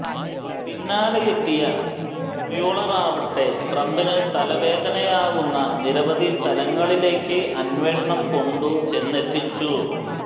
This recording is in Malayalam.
പിന്നാലെയെത്തിയ മ്യൂളറാവട്ടെ ട്രംപിന് തലവേദനയാവുന്ന നിരവധി തലങ്ങളിലേക്ക് അന്വേഷണം കൊണ്ടു െചന്നെത്തിച്ചു